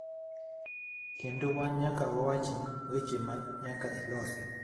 Kendo wan nyaka wawachni weche ma nyaka ilosi.